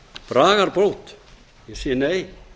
bragarbót ég segi nei